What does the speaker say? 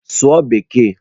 Sụọ bekee!